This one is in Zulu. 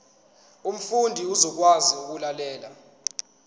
umfundi uzokwazi ukulalela